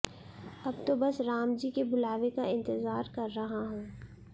अब तो बस रामजी के बुलावे का इंतजार कर रहा हूं